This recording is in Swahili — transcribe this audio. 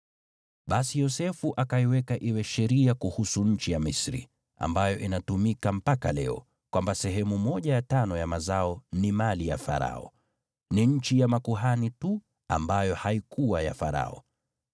Basi Yosefu akaiweka iwe sheria kuhusu nchi ya Misri, ambayo inatumika mpaka leo, kwamba, sehemu ya tano ya mazao ni mali ya Farao. Ni nchi ya makuhani tu ambayo haikuwa ya Farao.